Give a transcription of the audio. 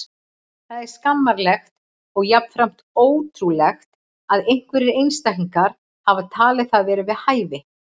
Það er skammarlegt og jafnframt ótrúlegt að einhverjir einstaklingar hafi talið það vera við hæfi.